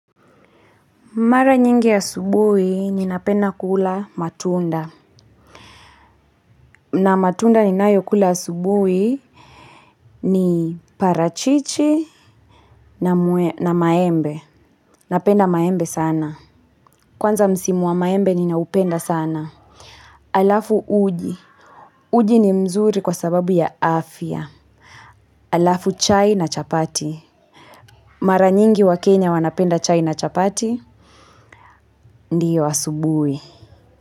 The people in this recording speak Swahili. Mara nyingi asubuhi ninapenda kula matunda. Na matunda ninayo kula asubuhi ni parachichi na maembe. Napenda maembe sana. Kwanza msimu wa maembe ninaupenda sana. Halafu uji. Uji ni mzuri kwa sababu ya afya. Alafu chai na chapati. Mara nyingi wakenya wanapenda chai na chapati. Ndio, asubuhi.